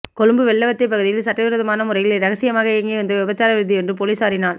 கொழும்பு வெள்ளவத்தை பகுதியில் சட்டவிரோதமான முறையில் இரகசியமாக இயங்கி வந்த விபச்சார விடுதியொன்று பொலிஸாரினால்